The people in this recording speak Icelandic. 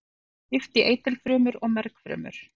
Þeim er skipt í eitilfrumur og mergfrumur.